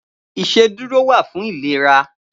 Iṣédùró wà fún ilérà